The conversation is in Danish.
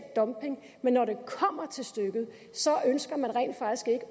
dumping men når det kommer til stykket ønsker man rent faktisk ikke